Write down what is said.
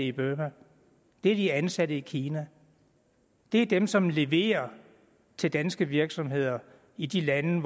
i burma det er de ansatte i kina det er dem som leverer til danske virksomheder i de lande